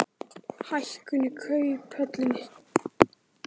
Hækkun í Kauphöllinni